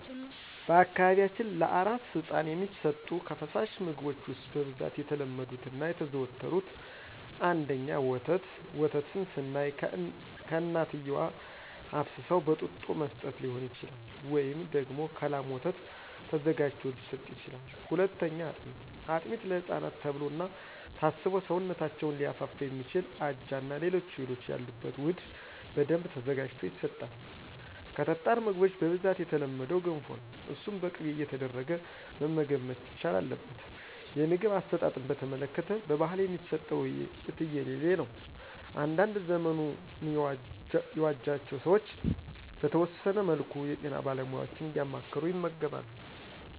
በአካባቢያችን ለአራስ ህፃን የሚሰጡ ከፈሳሽ ምግቦች ውስጥ በብዛት የተለመዱት እና የተዘወተሩት፦ ፩) ወተት፦ ወተትን ስናይ ከእናትየዋ አፍስሰው በጡጦ መስጠት ሊሆን ይችላል፤ ወይም ደግሞ ከላም ወተት ተዘጋጅቶ ሊሰጥ ይችላል። ፪) አጥሜት፦ አጥሜት ለህፃናት ተብሎ እና ታስቦ ሰውነታቸውን ሊያፋፋ የሚችል አጃ እና ሌሎች እህሎች ያሉበት ውህድ በደንብ ተዘጋጅቶ ይሰጣል። ከጠጣር ምግቦች በብዛት የተለመደው ገንፎ ነው እሱን በቅቤ እየተደረገ መመገብ መቻል አለበት። የምግብ አሰጣጥን በተመለከተ በባህል የሚሰጠው የትየለሌ ነው። አንዳንድ ዘመኑ ያዋጃቸው ሰዎች በተወሰነ መልኩ የጤና ባለሙያዎችን እያማከሩ ይመግባሉ።